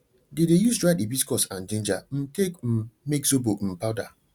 dey dey use dried hibiscus and ginger um take um make zobo um powder